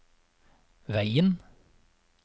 veien